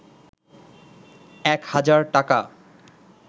এক হাজার টাকা